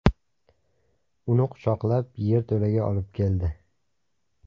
Uni quchoqlab yerto‘laga olib keldi.